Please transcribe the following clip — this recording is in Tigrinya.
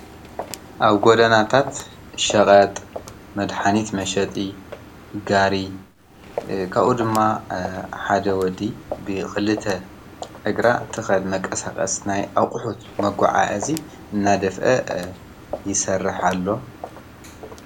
አብ ጎደናታት ሸበጥ ፣መድሓኒት መሸጢ ጋሪ ካብኡ ድማ ሓደ ወዲ ብክልተ እግራ ዝተከደነ ቀሳቐስ ናይ አቁሑት መጓዓዐዚ እናደፍአ ይሰረሕ ኣሎ ::